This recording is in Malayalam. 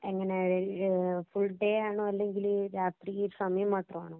എങ്ങനെയാ? ഫുള്‍ഡേ ആണോ? അല്ലെങ്കില്‍ രാത്രിയില്‍ സമയം മാത്രമാണോ?